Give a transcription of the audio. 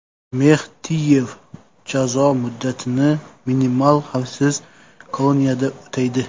Mextiyev jazo muddatini minimal xavfsiz koloniyada o‘taydi.